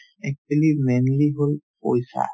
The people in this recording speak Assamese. actually mainly হ'ল পইচা